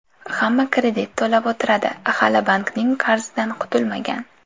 Hamma kredit to‘lab o‘tiradi, hali bankning qarzidan qutulmagan.